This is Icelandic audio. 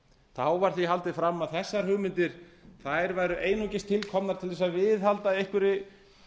þá var því haldið fram að þessar hugmyndir væru einungis til komnar til að viðhalda einhverri